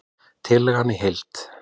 Tillagan í heild